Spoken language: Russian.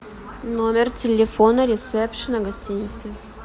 номер телефона ресепшена гостиницы